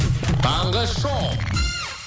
таңғы шоу